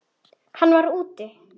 En hann var úti.